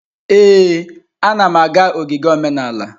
Ee, anam aga ogige omenala.